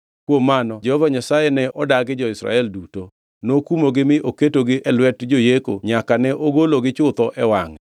Kuom mano Jehova Nyasaye ne odagi jo-Israel duto; nokumogi mi oketegi e lwet joyeko nyaka ne ogologi chutho e wangʼe.